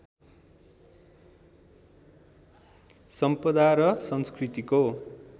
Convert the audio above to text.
सम्पदा र संस्कृतिको